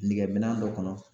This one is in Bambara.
Nɛgeminan dɔ kɔnɔ